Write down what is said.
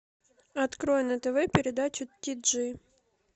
открой на тв передачу ти джи